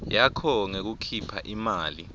yakho ngekukhipha imali